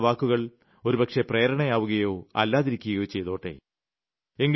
അവർക്ക് എന്റെ വാക്കുകൾ ഒരുപക്ഷേ പ്രേരണയാവുകയോ അല്ലാതിരിക്കുകയോ ചെയ്തോട്ടെ